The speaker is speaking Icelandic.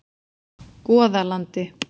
Goðalandi